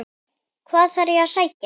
Hvað þarf að sækja?